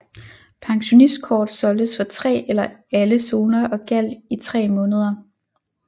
Pensionistkort solgtes for tre eller alle zoner og gjaldt i tre måneder